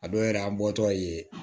A dɔw yɛrɛ an bɔtɔ ye